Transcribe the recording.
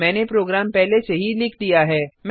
मैने प्रोग्राम पहले से ही लिख दिया है